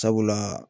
Sabula